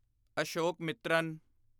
ਅਸ਼ੋਕਮਿੱਤਰਾਂ